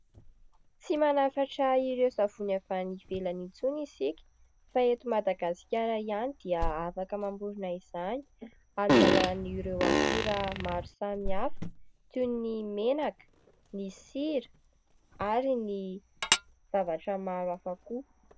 Tsy manafatra ireo savony avy any ivelany intsony isika fa eto Madagasikara ihany dia afaka mamorona izany, amin'ny alalan'ireo akora maro samihafa toy ny menaka, ny sira, ary ny zavatra maro hafa koa.